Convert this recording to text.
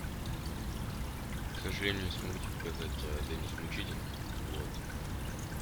к сожалению не смогу тебе показать деннис мучитель вот